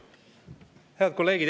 Head kolleegid!